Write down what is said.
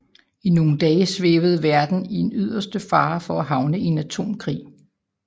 I nogle dage svævede verden i yderste fare for at havne i en atomkrig